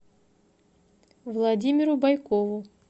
владимиру байкову